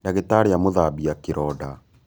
Ndagītarī amūthabia kīronda